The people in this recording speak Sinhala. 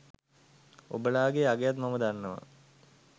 ඔබලාගෙ අගයත් මම දන්නවා.